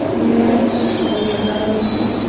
দেওয়ালে একটি ছবি রাখা রয়েছে।